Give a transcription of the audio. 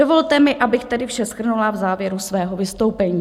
Dovolte mi, abych tedy vše shrnula v závěru svého vystoupení.